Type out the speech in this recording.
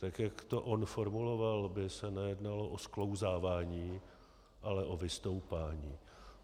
Tak jak to on formuloval, by se nejednalo o sklouzávání, ale o vystoupání.